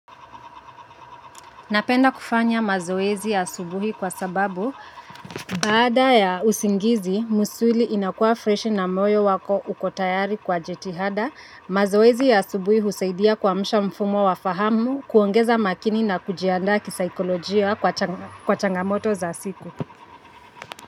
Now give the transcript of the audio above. Napenda kufanya mazoezi ya asubuhi kwa sababu, baada ya usingizi, misuli inakua fresh na moyo wako uko tayari kwa jitihada, mazoezi ya subuhi husaidia kuamsha mfumo wa fahamu, kuongeza umakini na kujianda kisaikolojia kwa changamoto za siku.